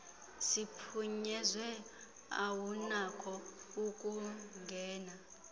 siphunyezwe awunakho ukungena